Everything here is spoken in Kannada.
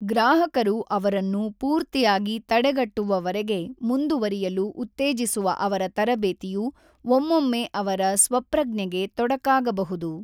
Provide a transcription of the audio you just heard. ಗ್ರಾಹಕರು ಅವರನ್ನು ಪೂರ್ತಿಯಾಗಿ ತಡೆಗಟ್ಟುವವರೆಗೆ ಮುಂದುವರಿಯಲು ಉತ್ತೇಜಿಸುವ ಅವರ ತರಬೇತಿಯು ಒಮ್ಮೊಮ್ಮೆ ಅವರ ಸ್ವಪ್ರಜ್ಞೆಗೆ ತೊಡಕಾಗಬಹುದು